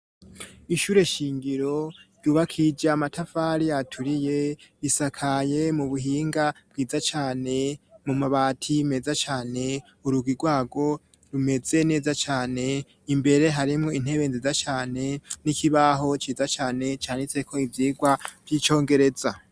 Ishure shingiro ryubakije amatafari aturiye bisakaye mu buhinga bwiza cane mu mabati meza cane uruga irwago rumeze neza cane imbere harimwo intebe nziza cane n'ikibaho ciza cane canitseko ivyirwa vy'icongereza.